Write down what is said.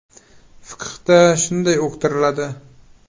Fiqhda shunday uqtiriladi.